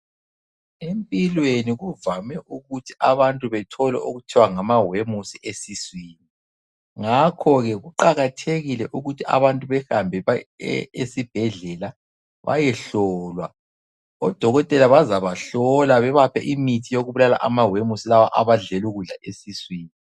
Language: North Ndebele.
Empilweni kuvame ukuthi abantu bethole okuthiwa ngamawemusi esiswini, ngakho ke kuqakathekile ukuthi abantu bahambe esibhedlela bayehlolwa. Odokotela bazabahlola babaphe imithi yokubulala amawemusi lawa abadlela ukudla esiswini.